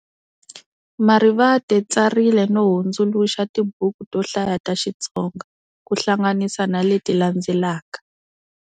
Marivate tsarile no hundzuluxa tibuku to hlaya ta xitsonga, kuhlanganisa na leti landzelaka.